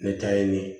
N bɛ taa ɲini